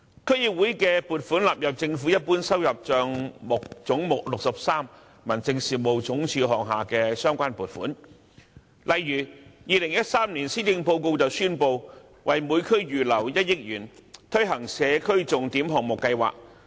區議會的撥款納入政府一般收入帳目總目63民政事務總署下的相關撥款，例如2013年施政報告宣布為每區預留1億元，推行社區重點項目計劃。